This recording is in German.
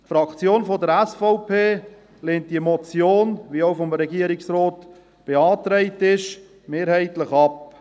Die Fraktion der SVP lehnt diese Motion, wie auch vom Regierungsrat beantragt, mehrheitlich ab.